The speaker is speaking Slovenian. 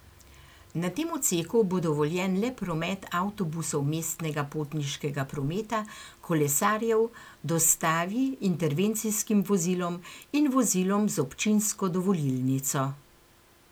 Na tem odseku bo dovoljen le promet avtobusov mestnega potniškega prometa, kolesarjev, dostavi, intervencijskim vozilom in vozilom z občinsko dovolilnico.